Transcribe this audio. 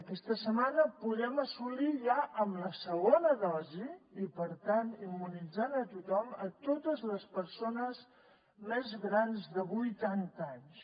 aquesta setmana podem assolir ja amb la segona dosi i per tant immunitzant a tothom totes les persones més grans de vuitanta anys